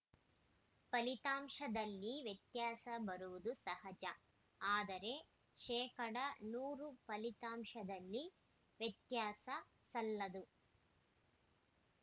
ಫಲಿತಾಂಶದಲ್ಲಿ ವ್ಯತ್ಯಾಸ ಬರುವುದು ಸಹಜ ಆದರೆ ಶೇಕಡ ನೂರು ಫಲಿತಾಂಶದಲ್ಲಿ ವ್ಯತ್ಯಾಸ ಸಲ್ಲದು